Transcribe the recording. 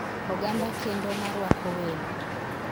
Oganda kendo ma rwako welo.